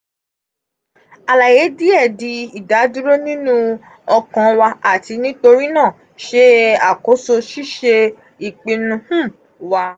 alaye diẹ di “idaduro” ninu ọkan wa ati nitorinaa ṣe akoso ṣiṣe ipinnu um wa.